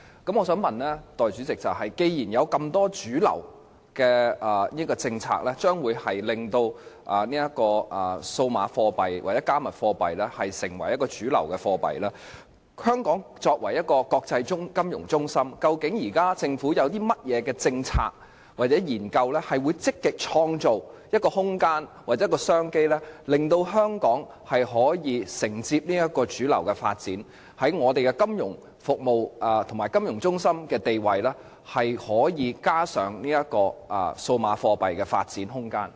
代理主席，既然有這麼多主流的政策將會令數碼貨幣或"加密貨幣"成為一種主流貨幣，那麼，香港作為一個國際金融中心，究竟政府現時有甚麼政策或研究，能積極創造空間或商機，令香港可以承接這個主流的發展，在我們的金融服務及金融中心的地位，可以加上數碼貨幣的發展空間？